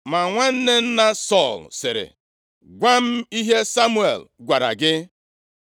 Ma nwanne nna Sọl sịrị, “Gwa m ihe Samuel gwara gị.”